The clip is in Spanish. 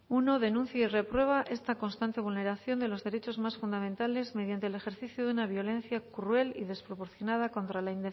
uno denuncia y reprueba esta constante vulneración de los derechos más fundamentales mediante el ejercicio de una violencia cruel y desproporcionada contra la